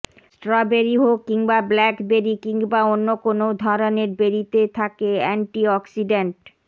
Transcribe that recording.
strawberry হোক কিংবা blackberry কিংবা অন্য কোনও ধরনের বেরিতে থাকে অ্যান্টিঅক্সিডেন্ট